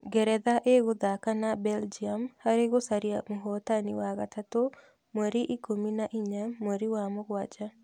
Ngeretha ĩgũthaka na Belgium harĩ gũcaria mũhotani wa gatatũ mweri ikũmi na inya mweri wa mũgwanja